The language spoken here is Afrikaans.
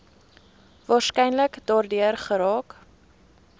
waarskynlik daardeur geraak